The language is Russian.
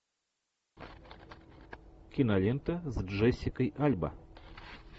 кинолента с джессикой альба